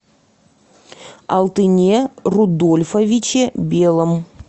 алтыне рудольфовиче белом